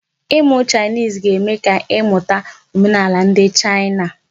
Ịmụ Chinese ga-eme ka ị mụta omenaala ndị China.